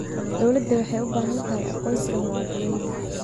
Dawladdu waxay u baahan tahay aqoonsiga muwaadiniinta.